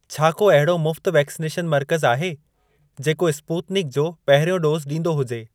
छा को अहिड़ो मुफ़्त वैक्सनेशन मर्कज़ आहे, जेको स्पूतनिक जो पहिरियों डोज़ ॾींदो हुजे?